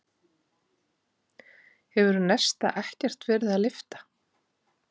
Hefur Nesta ekkert verið að lyfta?